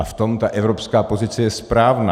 A v tom ta evropská pozice je správná.